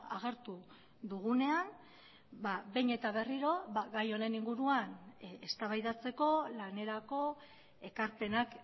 agertu dugunean behin eta berriro gai honen inguruan eztabaidatzeko lanerako ekarpenak